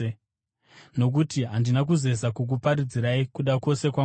Nokuti handina kuzeza kukuparidzirai kuda kwose kwaMwari.